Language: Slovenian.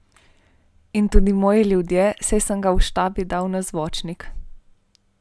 In tudi moji ljudje, saj sem ga v štabu dal na zvočnik.